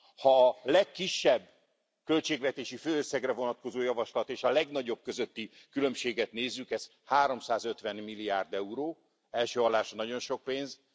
Ha a legkisebb költségvetési főösszegre vonatkozó javaslat és a legnagyobb közötti különbséget nézzük, ez háromszázötven milliárd euró, első hallásra nagyon sok pénz.